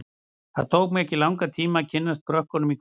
Það tók mig ekki langan tíma að kynnast krökkunum í hverfinu.